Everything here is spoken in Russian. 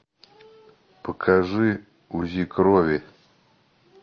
покажи узи крови